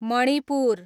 Manipur